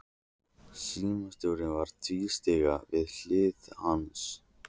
Símstjórinn var að tvístíga við hlið hans.